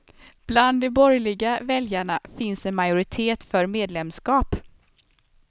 Bland de borgerliga väljarna finns en majoritet för medlemskap.